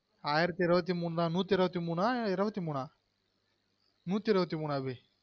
ஆயிரத்து இருபத்து மூனா நூத்தி அறுபத்து மூனா இருபத்தி மூன நூத்தி இருபத்தி மூனு அபி